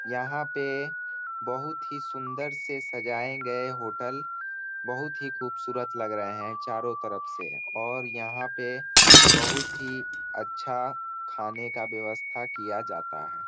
यहां पे बहुत ही सुंदर से सजाये गए होटल बहुत ही ख़ूबसूरत लग रहे है। चारो तरफ से। और यहां पे बहुत ही अच्छा खाने का व्यवस्था किया जाता है।